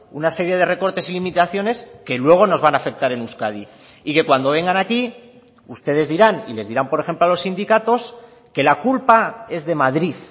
una serie de recortes y limitaciones que luego nos van a afectar en euskadi y que cuando vengan aquí ustedes dirán y les dirán por ejemplo a los sindicatos que la culpa es de madrid